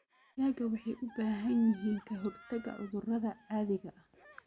Digaaga waxay u baahan yihiin ka hortaga cudurrada caadiga ah.